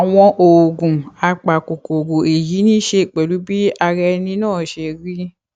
àwọn oògùn apakòkòrò èyí ní í ṣe pẹlú bí ara ẹni náà ṣe rí